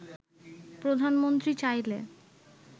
“প্রধানমন্ত্রী চাইলে